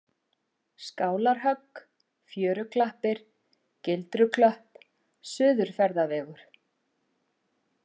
Skálarhögg, Fjöruklappir, Gildruklöpp, Suðurferðavegur